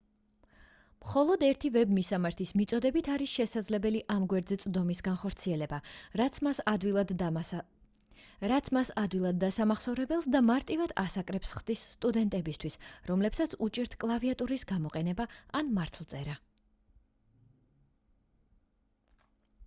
მხოლოდ ერთი ვებ მისამართის მიწოდებით არის შესაძლებელი ამ გვერდზე წვდომის განხორციელება რაც მას ადვილად დასამახსოვრებელს და მარტივად ასაკრეფს ხდის სტუდენტებისთვის რომლებსაც უჭირთ კლავიატურის გამოყენება ან მართლწერა